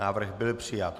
Návrh byl přijat.